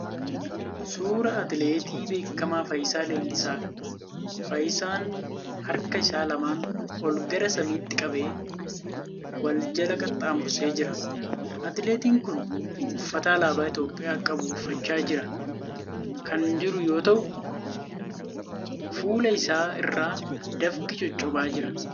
Suuraa atileetii beekamaa Fayyisaa Leellisaadha. Fayyisaan harka isaa lamaan ol gara samiitti qabee wal jala qaxxaamursee jira. Atileetiin kun uffata alaabaa Itiyoopiyaa qabu uffachaa jira kan jiru yoo ta'u fuula isaa irraa dafqi coccobaa jira.